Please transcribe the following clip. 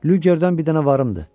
Lügerdən bir dənə varımdı.